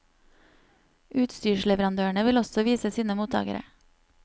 Utstyrsleverandørene vil også vise sine mottakere.